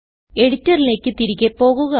എഡിറ്ററിലേക്ക് തിരികെ പോകുക